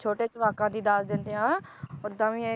ਛੋਟੇ ਜਵਾਕਾਂ ਦੀ ਦੱਸ ਦਿੰਦੇ ਆ, ਓਦਾਂ ਵੀ ਇਹ